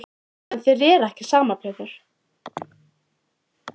En þér er ekki sama Pétur.